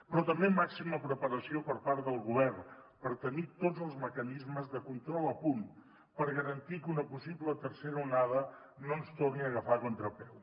però també màxima preparació per part del govern per tenir tots els mecanismes de control a punt per garantir que una possible tercera onada no ens torni a agafar a contrapeu